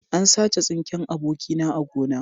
An sace tsinken abokina a gona